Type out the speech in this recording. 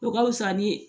O ka fusa ni